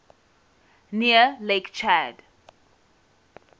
near lake chad